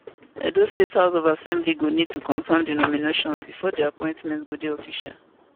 edo state house of assembly go need to confirm dis nominations bifor di appointments go dey official